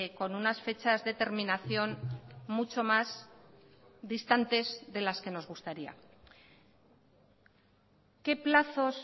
con unas fechas de terminación mucho más distantes de las que nos gustaría qué plazos